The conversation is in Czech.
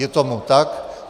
Je tomu tak.